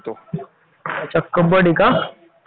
तुमचं बँक कर्मचारी म्हणा